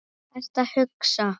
Hvað ertu að hugsa?